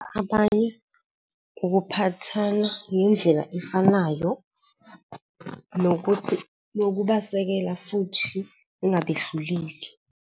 Abanye ukuphathana ngendlela efanayo, nokuthi nokubasekela futhi ungabehluleli.